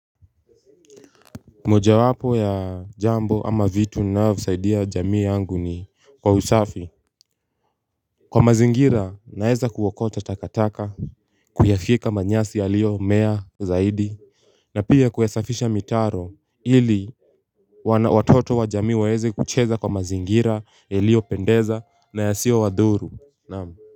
Mojawapo ya jambo ama vitu ninavyosaidia jamii yangu ni kwa usafi. Kwa mazingira naeza kuokota takataka kuyafyeka manyasi yaliyomea zaidi na pia kuyasafisha mitaro ili watoto wa jamii waweze kucheza kwa mazingira yaliyopendeza na yasiyowadhuru naam.